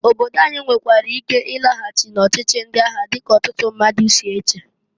Obodo anyị nwekwara ike ịlaghachị n'ọchịchị ndị agha dịka ọtụtụ ndị mmadụ si eche.